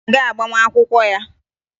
Anyị ga-aga agbamakwụkwọ ya